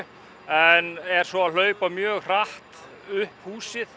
en er svo að hlaupa mjög hratt upp húsið